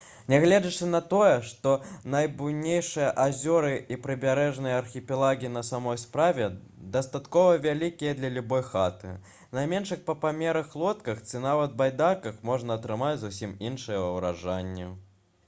нягледзячы на тое што найбуйнейшыя азёры і прыбярэжныя архіпелагі на самой справе дастаткова вялікія для любой яхты на меншых па памерах лодках ці нават байдарках можна атрымаць зусім іншыя ўражанні